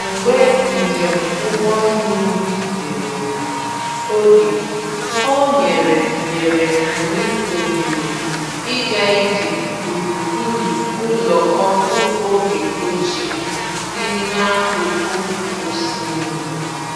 Mgbe njem ụgbọ mmiri jidere oge, o nyere nyere anyị ohere ịga ije gburugburu ụlọ ọkụ oge ochie dị n’akụkụ osimiri.